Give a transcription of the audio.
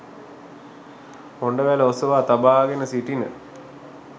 හොඬවැල ඔසවා තබාගෙන සිටින